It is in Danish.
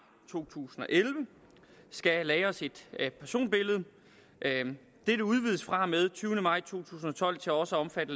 to tusind og elleve skal lagres et personbillede dette udvides fra og med den tyvende maj to tusind og tolv til også at omfatte